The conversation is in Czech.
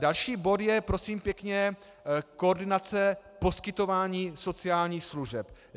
Další bod je, prosím pěkně, koordinace poskytování sociálních služeb.